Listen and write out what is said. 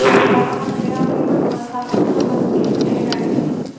ਕਣਕਾਂ ਨਹੀਂ ਵਾਦ ਹੁੰਦੀਆਂ ਉਦ ਤਕ ਬੱਤੀ ਏਦਾਂ ਹੀ ਰਹਨਿ ਵਾ